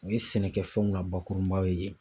U ye sɛnɛkɛfɛnw na bakurunbaw ye